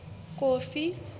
kofi